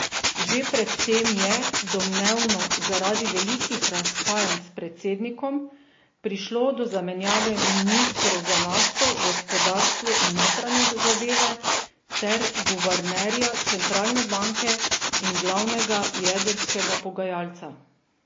Že pred tem je, domnevno zaradi velikih razhajanj s predsednikom, prišlo do zamenjave ministrov za nafto, gospodarstvo in notranje zadeve ter guvernerja centralne banke in glavnega jedrskega pogajalca.